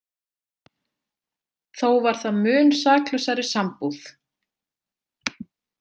Þó var það mun saklausari sambúð.